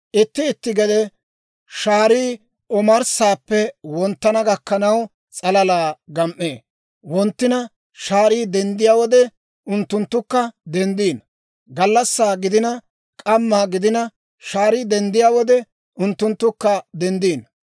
Itti itti gede shaarii omarssaappe wonttana gakkanaw s'alalaa gam"ee; wonttina shaarii denddiyaa wode unttunttukka denddino. Gallassaa gidina, k'amma gidina, shaarii denddiyaa wode unttunttukka denddino.